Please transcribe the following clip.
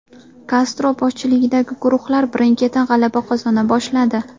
Kastro boshchiligidagi guruhlar birin-ketin g‘alaba qozona boshladi.